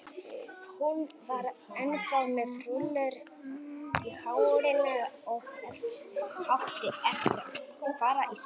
Hún var ennþá með rúllur í hárinu og átti eftir að fara í sturtu.